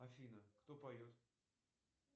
афина кто поет